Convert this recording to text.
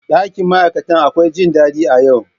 Ɗakin ma'aikata akwai jin daɗi a yau.